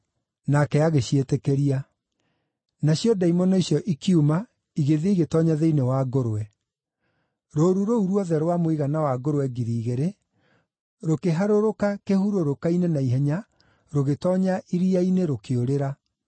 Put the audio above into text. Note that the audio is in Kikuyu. Nake agĩciĩtĩkĩria. Nacio ndaimono icio ikiuma igĩthiĩ igĩtoonya thĩinĩ wa ngũrwe. Rũũru rũu ruothe rwa mũigana wa ngũrwe ngiri igĩrĩ, rũkĩharũrũka kĩhurũrũka-inĩ na ihenya rũgĩtoonya iria-inĩ, rũkĩũrĩra.